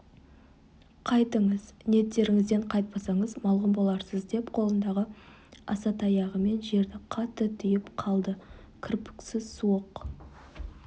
қайтыңыз ниеттеріңізден қайтпасаңыз малғұн боларсыз деп қолындағы аса таяғымен жерді қатты түйіп қалды кірпіксіз суық